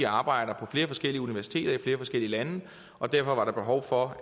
arbejder på flere forskellige universiteter i flere forskellige lande og derfor var der behov for